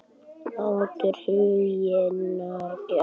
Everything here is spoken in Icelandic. Máttur huggunarinnar varð sterkari en harmurinn.